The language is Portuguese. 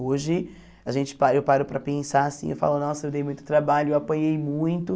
Hoje, a gente para eu paro para pensar assim, eu falo, nossa, eu dei muito trabalho, eu apanhei muito.